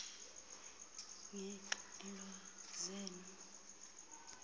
ngezo ngxelo nezo